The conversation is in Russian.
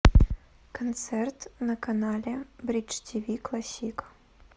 концерт на канале бридж тиви классик